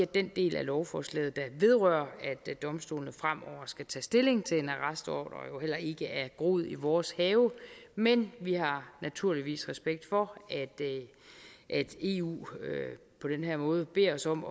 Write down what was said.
den del af lovforslaget der vedrører at domstolene fremover skal tage stilling til en arrestordre heller ikke er groet i vores have men vi har naturligvis respekt for at eu på den her måde beder os om